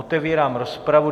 Otevírám rozpravu.